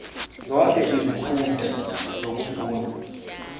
zonke izinkundla zokufunda